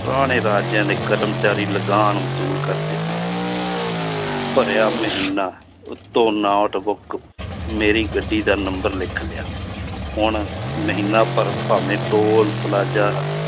ਪੁਰਾਣੇ ਰਾਜਿਆਂ ਦੇ ਕਰਮਚਾਰੀ ਲਗਾਨ ਵਸੂਲ ਕਰਦੇ ਹੋਣ ਭਰਿਆ ਮਹੀਨਾ ਉੱਤੋਂ notebook ਮੇਰੀ ਗੱਡੀ ਦਾ number ਲਿਖ ਲਿਆ ਹੁਣ ਮਹੀਨਾ ਭਰ ਭਾਵੇਂ ਟੋਲ ਪਲਾਜਾ